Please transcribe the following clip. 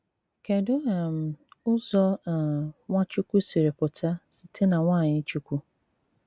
Kèdù um Ụ̀zọ um Nwáchúkwú sìrì pụta sị̀té na nwanyi Chukwu?